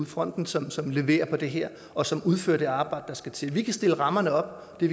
fronten som som leverer på det her og som udfører det arbejde der skal til vi kan stille rammerne op og det